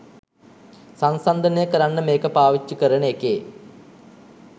සන්සන්දනය කරන්න මේක පාවිච්චි කරන එකේ